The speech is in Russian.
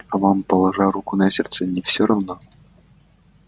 а вам положа руку на сердце не всё равно